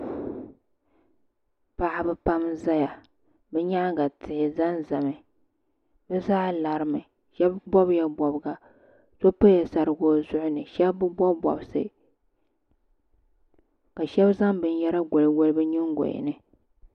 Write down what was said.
Paɣaba pam n zaya bɛ nyaanga tihi zanzami bɛ zaa larimi sheba bobla bobiga so pala sariga o zuɣuni sheba bi bobi bobsi ka sheba zaŋ binyɛra goligoli bɛ nyingoya ni.